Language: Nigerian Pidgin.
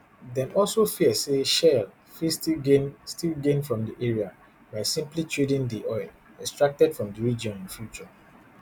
dem also fear say shell fit still gain still gain from di area by simply trading di oil extracted from di region in future